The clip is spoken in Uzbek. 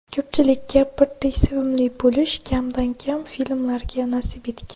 Ko‘pchilikka birdek sevimli bo‘lish kamdan kam filmlarga nasib etgan.